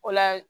O la